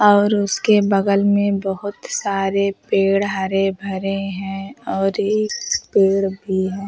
और उसके बगल में बहोत सारे पेड़ हरे भरे हैं और एक पेड़ भी है।